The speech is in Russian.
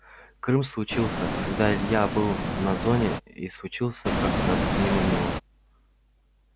крым случился когда илья был на зоне и случился как-то мимо него